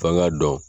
F'an k'a dɔn